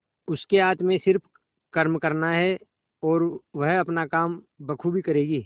उसके हाथ में सिर्फ कर्म करना है और वह अपना काम बखूबी करेगी